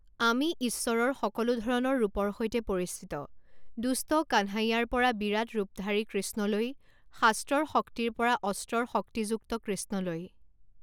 আমি ঈশ্বৰৰ সকলো ধৰণৰ ৰূপৰ সৈতে পৰিচিত, দুষ্ট কানহাইয়াৰ পৰা বিৰাট ৰূপধাৰী কৃষ্ণলৈ, শাস্ত্ৰৰ শক্তিৰ পৰা অস্ত্ৰৰ শক্তিযুক্ত কৃষ্ণলৈ।